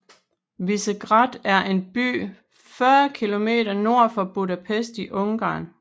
Visegrád er en by 40 km nord for Budapest i Ungarn